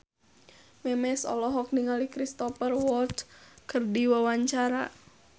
Memes olohok ningali Cristhoper Waltz keur diwawancara